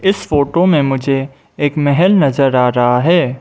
Photo में मुझे एक महेल नजर आ रहा है।